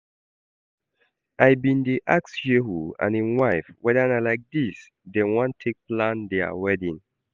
I bin dey ask Shehu and im wife whether na like dis dem wan take plan dia wedding